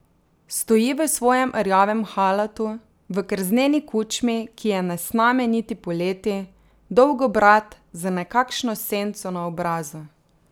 Stoji v svojem rjavem halatu, v krzneni kučmi, ki je ne sname niti poleti, dolgobrad, z nekakšno senco na obrazu.